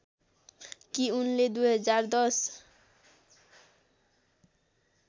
कि उनले २०१०